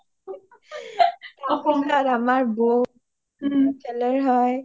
অসমীয়াত আমাৰ বৌ খেলেৰ হয়